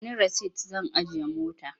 Ba ni rasit zan ajiye mota.